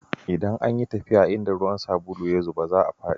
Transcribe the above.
Idan an yi tafiya a inda ruwan sabulu ya zube, za a fadi.